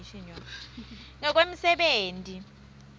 ngekwemsebenti